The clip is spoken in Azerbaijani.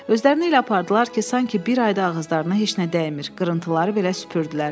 Özlərini elə apardılar ki, sanki bir ayda ağızlarına heç nə dəymir, qırıntıları belə süpürdülər.